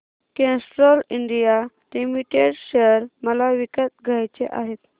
Castrol India Limited share मला विकत घ्यायचे आहेत